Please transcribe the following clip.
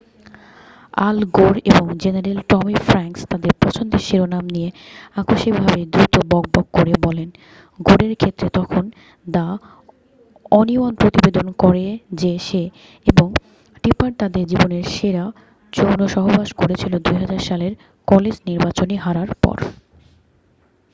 আল Gore এবং general Tommy Franks তাদের পছন্দের শিরোনাম নিয়ে আকস্মিকভাবেই দ্রুত বকবক করে বলেন গোরের ক্ষেত্রে যখন দ্যা ওনিয়ন প্রতিবেদন করে যে সে এবং টিপার তাদের জীবনের সেরা যৌনসহবাস করেছিল ২০০০ সালে কলেজ নির্বাচনী হারার পর ।